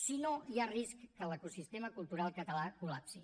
si no hi ha risc que l’ecosistema cultural català col·lapsi